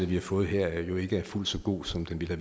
vi har fået her jo ikke er fuldt så god som den ville